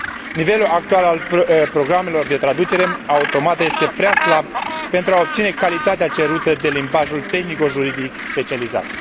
Nivelul actual al programelor de traducere automată este prea slab pentru a obține calitatea cerută de limbajul tehnico juridic specializat.